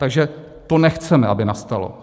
Takže to nechceme, aby nastalo.